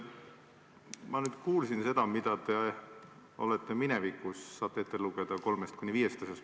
Ma palusin teil ette lugeda kolm kuni viis asja, mis te olete minevikus ellu viinud.